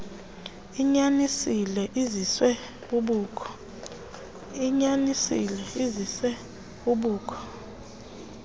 unyanisile liziswe bubukho